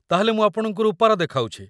ତା'ହେଲେ ମୁଁ ଆପଣଙ୍କୁ ରୂପାର ଦେଖାଉଛି ।